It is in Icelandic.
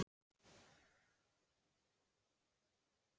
Ég veit ekki hvað hann pabbi þinn var að hugsa!